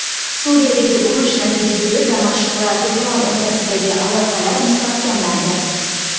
Suriyadagi urush natijasida Damashq va Tehron o‘rtasidagi aloqalar mustahkamlandi.